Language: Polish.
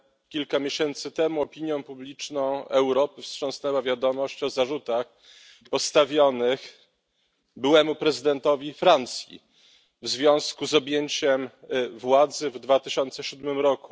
Kilka miesięcy temu opinią publiczną Europy wstrząsnęła wiadomość o zarzutach postawionych byłemu prezydentowi Francji w związku z objęciem władzy w 2007 r.